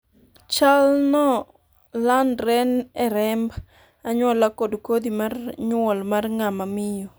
chal no landre e remb anyuola kod kodhi mar nyuol mar ng'ama miyo